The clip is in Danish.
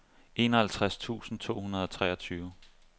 enoghalvtreds tusind to hundrede og treogtyve